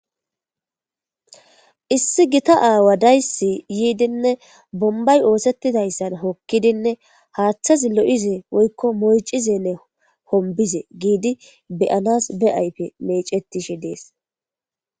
Issi gitta awa de'eys yidinee bonibay osetidaysa wokidinee athazi lo'ize woyiko mocize woyiko hobize be'anas be ayipe mecetishe de'es